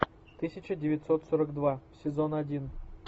тысяча девятьсот сорок два сезон один